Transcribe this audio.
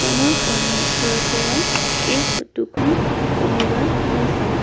দোকানৰ সন্মুখৰ পৰা এই ফটো খন তুলি লোৱা হৈছে।